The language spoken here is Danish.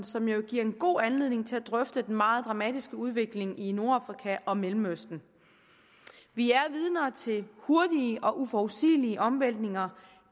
som jo giver en god anledning til at drøfte den meget dramatiske udvikling i nordafrika og i mellemøsten vi er vidner til hurtige og uforudsigelige omvæltninger